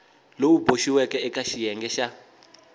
lowu boxiweke eka xiyenge xa